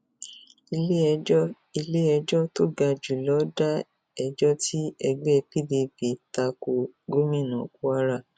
iléẹjọ iléẹjọ tó ga jù lọ da ẹjọ tí ẹgbẹ pdp ta ko gómìnà kwara